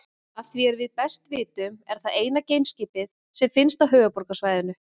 Að því er við best vitum er það eina geimskipið sem finnst á Höfuðborgarsvæðinu.